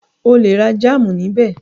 O lè ra jámù níbẹ̀.